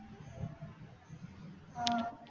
ആഹ്